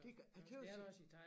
Det ja det var sindssygt